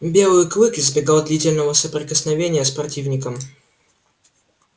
белый клык избегал длительного соприкосновения с противником